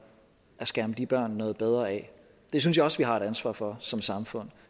at skærme de børn noget bedre af det synes jeg også vi har et ansvar for som samfund